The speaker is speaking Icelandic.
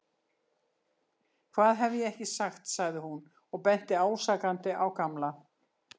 Hvað hef ég ekki sagt sagði hún og benti ásakandi á Gamla.